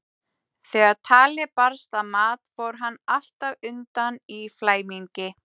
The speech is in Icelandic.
Þegar talið barst að mat fór hann alltaf undan í flæmingi.